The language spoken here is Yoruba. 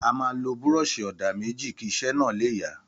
Àma lọ búrọsi òdá méjì kì isẹ na le yà.